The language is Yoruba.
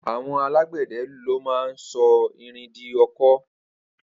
Awọn àlágbẹdẹ ló mà n sọ ìrín di ọ̀kọ̀